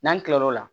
N'an kila l'o la